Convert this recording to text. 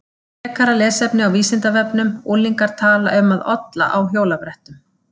Frekara lesefni á Vísindavefnum Unglingar tala um að olla á hjólabrettum.